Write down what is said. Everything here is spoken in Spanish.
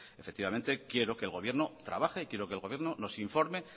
efectivamente quiero que el gobierno trabaje y quiero que el gobierno nos informe